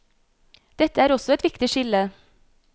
Dette er også et viktig skille.